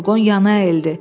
Furqon yana əyildi.